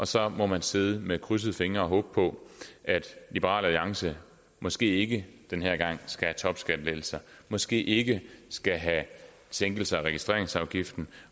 så må man sidde med krydsede fingre og håbe på at liberal alliance måske ikke den her gang skal have topskattelettelser måske ikke skal have sænkelser af registreringsafgiften